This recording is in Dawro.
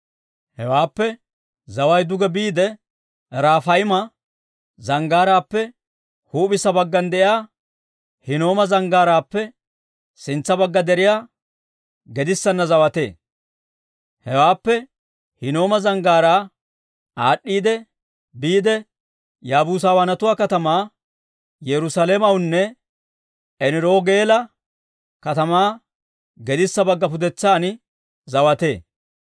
Hewaappe zaway duge biide Rafayma zanggaaraappe huup'issa baggan de'iyaa Hinnooma Zanggaaraappe sintsa bagga deriyaa gedissanna zawatee. Hewaappe Hinnooma Zanggaaraa aad'd'iidde biide, Yaabuusawaanatuwaa katamaa Yerusaalamewunne Eniroogeela katamaa gedissa bagga pudetsan zawatee.